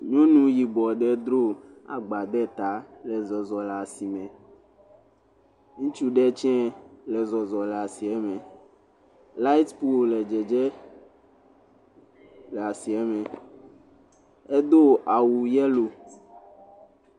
Nyɔnu yibɔ ɖe dro agba ɖe ta le zɔzɔm le asime, ŋutsu ɖe tse le zɔzɔm le asieme, light pole le dzedzem le asieme edo awu yellow.